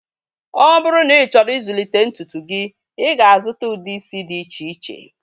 Ọ bụrụ na ị chọrọ ịzụlite ntutu gị, ị ga-azuta ude isi dị iche iche